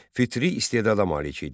Fitri istedada malik idi.